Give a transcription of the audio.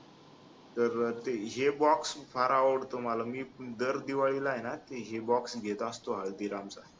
तर ते हे box फार आवडतो मला मी दर दिवाळीला हाय ना हे box घेत असतो हल्दीरामचा